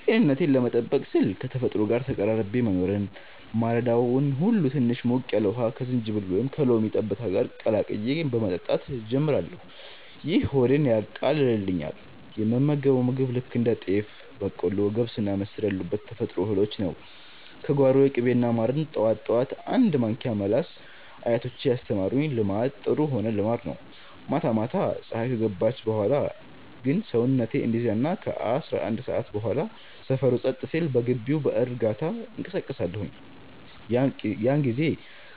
ጤንነቴን ለመጠበቅ ስል ከተፈጥሮ ጋር ተቀራርቤ መኖርን። ማለዳውን ሁሉ ትንሽ ሞቅ ያለ ውሃ ከዝንጅብል ወይም ከሎሚ ጠብታ ጋር ቀላቅዬ በመጠጣት ጀምራለሁ፤ ይህ ሆዴን ያቃልልኛል። የምመገበው ምግብ ልክ እንደ ጤፍ፣ በቆሎ፣ ገብስና ምስር ያሉትን የተፈጥሮ እህሎች ነው፤ ከጓሮዬ። ቅቤና ማርን ጠዋት ጠዋት አንድ ማንኪያ መላስ አያቶቼ ያስተማሩኝ ልማድ ጥሩ ሆነ ልማድ ነው። ማታ ማታ ፀሀይ ከገባች በኋላ ግን ሰውነቴ እንዲዝናና ከ11 ሰዓት በኋላ ሰፈሩ ጸጥ ሲል በግቢው በእርጋታ እንቀሳቀሳለሁኝ። ያን ጊዜ